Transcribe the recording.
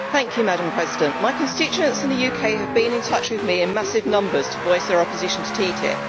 Madam President, my constituents in the UK have been in touch with me in massive numbers to voice their opposition to TTIP.